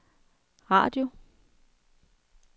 radio